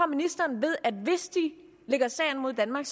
ministeren ved at hvis de lægger sag an mod danmark